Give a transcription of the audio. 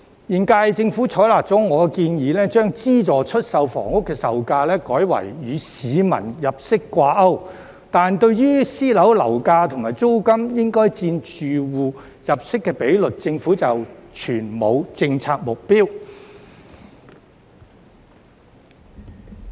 現屆政府採納了我的建議，將資助出售房屋的售價改為與市民入息掛鈎，但對於私樓樓價及租金應佔住戶入息的比率，政府則全無政策目標。